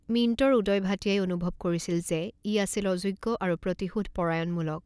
মিন্ট'ৰ উদয় ভাটিয়াই অনুভৱ কৰিছিল যে ই আছিল অযোগ্য আৰু প্ৰতিশোধপৰায়ণমূলক।